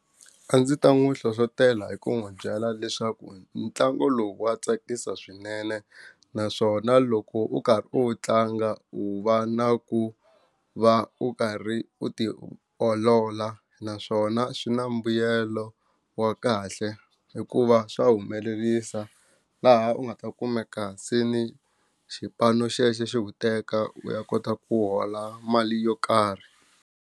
A ndzi ta n'wi hlohlotela hi ku n'wi byela leswaku ntlangu lowu wa tsakisa swinene naswona loko u karhi u tlanga u va na ku va u karhi u ti olola naswona swi na mbuyelo wa kahle hikuva swa humelerisa laha u nga ta kumeka seni xipano xexo xi ku teka u ya kota ku hola mali yo karhi.